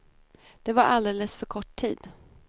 Det var alldeles för kort tid.